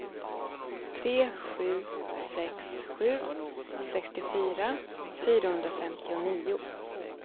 tre sju sex sju sextiofyra fyrahundrafemtionio